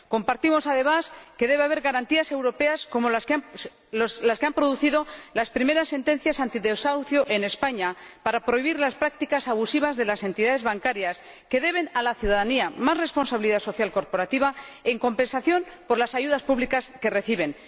Comparto, además, que debe haber garantías europeas, como las que han producido las primeras sentencias antidesahucio en España, para prohibir las prácticas abusivas de las entidades bancarias, que deben a la ciudadanía más responsabilidad social corporativa en compensación por las ayudas públicas que reciben.